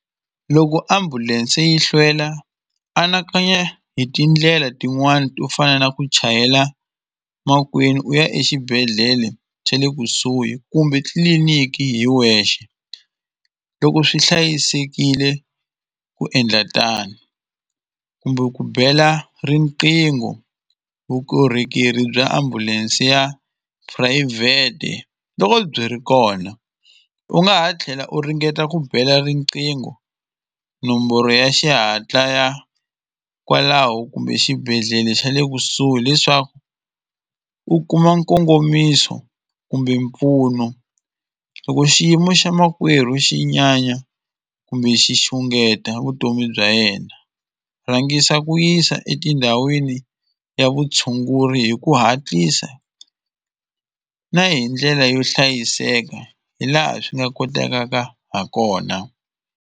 Loko ambulense yi hlwela anakanya hi tindlela tin'wani to fana na ku chayela makwenu u ya exibedhlele xa le kusuhi kumbe tliliniki hi wexe loko swi hlayisekile ku endla tano kumbe ku bela riqingho vukorhokeri bya ambulense ya phurayivhete loko byi ri kona u nga ha tlhela u ringeta ku bela riqingho nomboro ya xihatla ya kwalaho kumbe xibedhlele xa le kusuhi leswaku u kuma nkongomiso kumbe mpfuno loko xiyimo xa makwerhu xi nyanya kumbe xi xungeta vutomi bya yena rhangisa ku yisa etindhawini ya vutshunguri hi ku hatlisa na hi ndlela yo hlayiseka hi laha swi nga kotakaka ha kona.